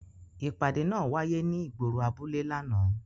Ipade naa waye ni igboro abule làná.